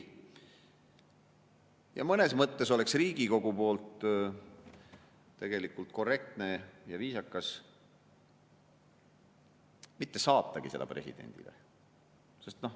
Ja mõnes mõttes oleks Riigikogu poolt tegelikult korrektne ja viisakas mitte saatagi seda presidendile.